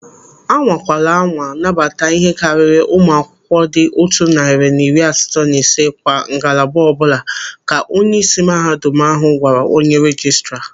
"Anwakwala anwa nabata ihe karịrị ụmụ akwụkwọ dị otu narị na iri asatọ na ise kwa ngalaba ọbụla", ka onyeisi mahadum ahụ gwara onye rejistra.